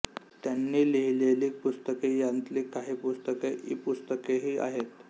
त्यांनी लिहिलेली पुस्तके यांतली काही पुस्तके ईपुस्तकेही आहेत